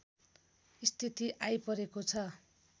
स्थिति आइपरेको छ